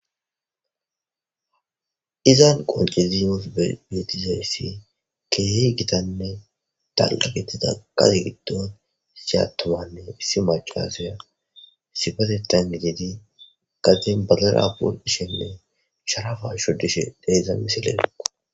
izan qonciziyof beetizayssi keehy gitanne talqa gettida qazi giddon siyatamanne issi macaseya sifatetan gididi qaxen balera pol ishenne sharafa shodishe deeza misileneqo